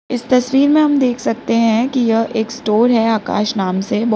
इस तस्वीर में हम देख सकते हैं कि यह एक स्टोर है आकाश नाम से बहो--